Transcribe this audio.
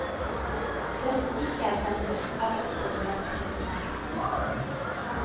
Det som ikke er pensum, er ofte det mest interessante.